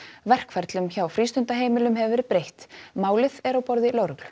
verkferlum hjá frístundaheimilinu hefur verið breytt málið er á borði lögreglu